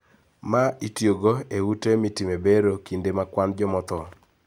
Ma itiyogo e ute mitime bero kinde ma kwan joma tho